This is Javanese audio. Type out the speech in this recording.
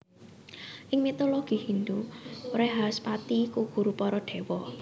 Ing mitologi Hindhu Wrehaspati iku guru para déwa